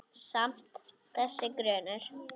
Samt- þessi grunur.